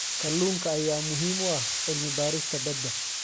Kalluunka ayaa muhiim u ah cilmi baarista badda.